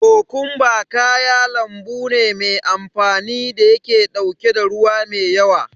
Kokumba kaya lambu ne me amfani da yake ɗauke ruwa me yawa.